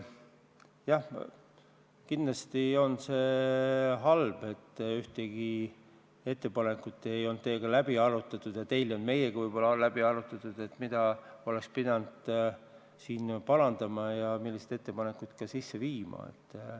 Jah, kindlasti on see halb, et ühtegi ettepanekut ei olnud teiega läbi arutatud ja võib-olla ka teil ei olnud meiega läbi arutatud, mida oleks pidanud siin parandama ja millised ettepanekud sisse viima.